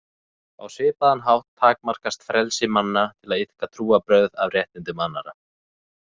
Á svipaðan hátt takmarkast frelsi manna til að iðka trúarbrögð af réttindum annarra.